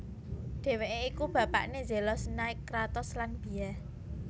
Dhèwèké iku bapakné Zelos Nike Kratos lan Bia